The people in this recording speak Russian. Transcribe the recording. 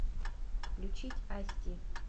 включить асти